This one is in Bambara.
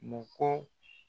Mɔkɔ